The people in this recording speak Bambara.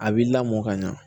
A b'i lamɔ ka ɲa